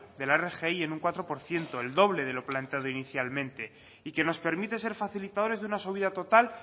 de la rgi en un cuatro por ciento el doble de lo planteado inicialmente y que nos permite ser facilitadores de una subida total